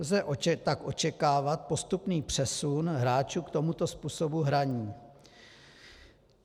Lze tak očekávat postupný přesun hráčů k tomuto způsobu hraní.